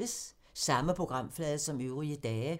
Samme programflade som øvrige dage